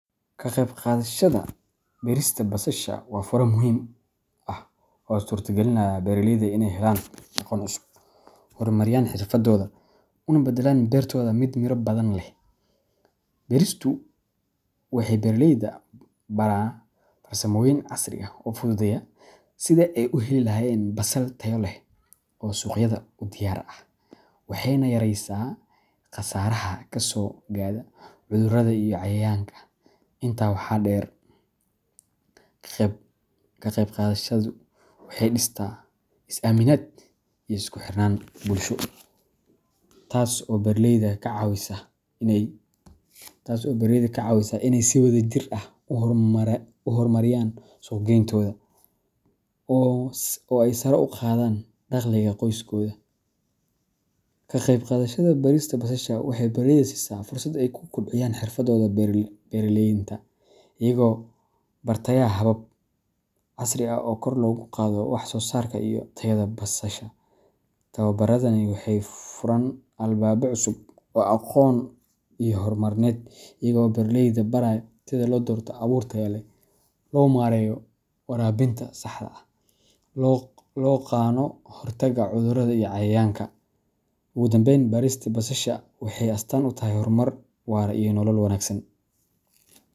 Kaqeyb qaadashada berista basasha waa fure muhiim ah oo u suurtagaliya beeraleyda inay helaan aqoon cusub, horumariyaan xirfadahooda, una badalaan beertooda mid miro badan leh. Beristu waxay beeraleyda baraa farsamooyin casri ah oo fududeynaya sidii ay u heli lahaayeen basal tayo leh oo suuqyada u diyaar ah, waxayna yaraysaa khasaaraha kasoo gaadha cudurrada iyo cayayaanka. Intaa waxaa dheer, ka qeybqaadashadu waxay dhistaa is aaminaad iyo isku xirnaan bulsho, taas oo beeraleyda ka caawisa inay si wadajir ah u horumariyaan suuq geyntooda oo ay sare ugu qaadaan dakhliga qoysaskooda. Ka qeyb qaadashada barista basasha waxay beeraleyda siisaa fursad ay ku kobciyaan xirfadahooda beeralaynta, iyagoo bartaya habab casri ah oo kor loogu qaado wax soo saarka iyo tayada basasha. Tababaradani waxay furaan albaabo cusub oo aqoon iyo horumarineed, iyaga oo beeraleyda baraya sida loo doorto abuur tayo leh, loo maareeyo waraabinta saxda ah, loogana hortago cudurrada iyo cayayaanka. Ugu dambayn, berista basasha waxay astaan u tahay horumar waara iyo nolol wanaagsan.